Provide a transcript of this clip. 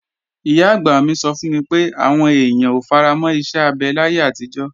Ìyá-àgbà mi sọ fún mi pé, àwọn èèyàn ò faramọ́ iṣẹ́ abẹ láyé àtijọ́